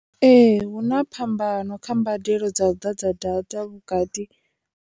Ee, hu na phambano kha mbadelo dza u ḓadza data vhukati.